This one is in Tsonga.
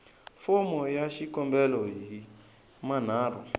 fomo ya xikombelo hi manharhu